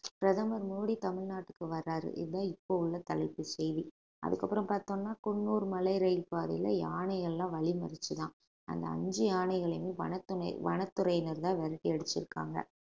பிரதமர் மோடி தமிழ்நாட்டுக்கு வர்றாரு இதுதான் இப்போ உள்ள தலைப்பு செய்தி அதுக்கு அப்புறம் பார்த்தோம்னா குன்னூர் மலை ரயில் பாதையில யானைகள் எல்லாம் வழி மறிச்சதாம் அந்த அஞ்சு யானைகளையுமே வனத்து~ வனத்துறையினர்தான் விரட்டி அடிச்சிருக்காங்க